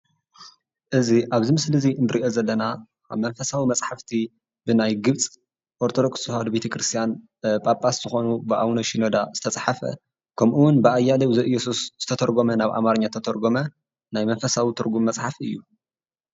እዚ ኣብዚ ምስሊ ንሪኦ ዘለና መንፈሳዊ መፅሓፍቲ ብናይ ግብፂ ኦርቶዶክስ ተዋህዶ ቤተ ክርስትያን ጳጳስ ዝኾኑ ብኣቡነ ሽኖዳ ዝተፃሕፈ ከምኡ ውን ብኣያሌው ዘእየሱስ ዝተተርጎመ ናብ ኣማርኛ ተተርጎመ ናይ መንፈሳዊ ትርጉም መፅሓፍ እዩ፡፡